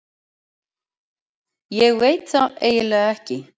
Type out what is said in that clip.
Ég veit það eiginlega ekki.